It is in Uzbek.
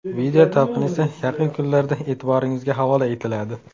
Video talqini esa yaqin kunlarda e’tiboringizga havola etiladi.